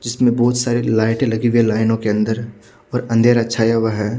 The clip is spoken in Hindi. जिसमें बहुत सारे लाइटें लगी हुई है लाइनों के अन्दर और अंधेरा छाया हुआ है।